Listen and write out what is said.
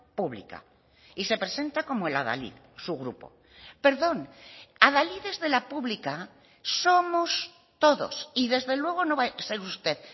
pública y se presenta como el adalid su grupo perdón adalides de la pública somos todos y desde luego no va a ser usted